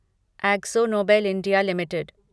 Akzo Nobel India limited